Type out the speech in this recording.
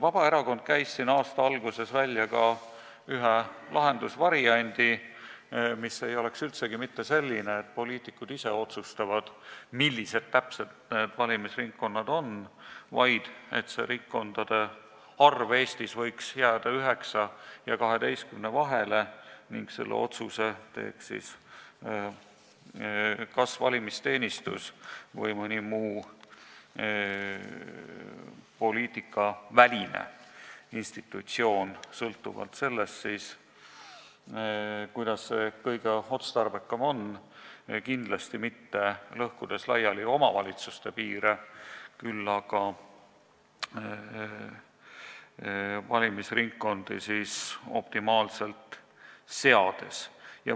Vabaerakond käis aasta alguses välja ühe lahendusvariandi, mis ei ole üldsegi mitte selline, et poliitikud ise otsustavad, millised täpselt need valimisringkonnad on, vaid ringkondade arv Eestis võiks jääda 9 ja 12 vahele ning selle otsuse teeks kas valimisteenistus või mõni muu poliitikaväline institutsioon, sõltuvalt sellest, kuidas kõige otstarbekam on, kindlasti mitte omavalitsuste piire lõhkudes, küll aga valimisringkondi optimaalselt paika seades.